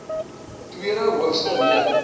tweede hoogste rede